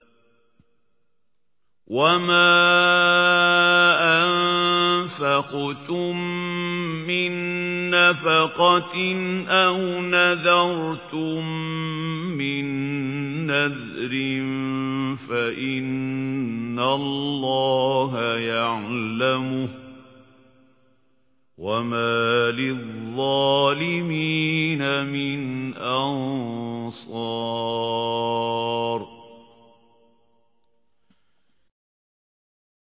وَمَا أَنفَقْتُم مِّن نَّفَقَةٍ أَوْ نَذَرْتُم مِّن نَّذْرٍ فَإِنَّ اللَّهَ يَعْلَمُهُ ۗ وَمَا لِلظَّالِمِينَ مِنْ أَنصَارٍ